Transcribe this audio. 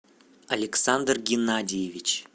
александр геннадьевич